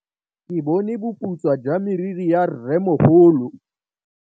Ke bone boputswa jwa meriri ya rrêmogolo.